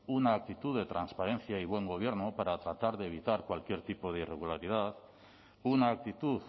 una actitud de transparencia y buen gobierno para tratar de evitar cualquier tipo de irregularidad una actitud